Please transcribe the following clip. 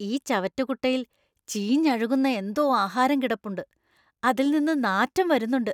ഈ ചവറ്റുകുട്ടയിൽ ചീഞ്ഞഴുകുന്ന എന്തോ ആഹാരം കിടപ്പുണ്ട്, അതിൽ നിന്ന് നാറ്റം വരുന്നുണ്ട്.